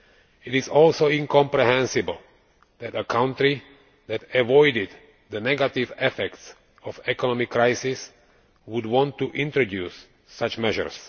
It is also incomprehensible that a country that avoided the negative effects of the economic crisis would want to introduce such measures.